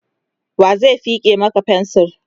wa zai feke Maka fensir?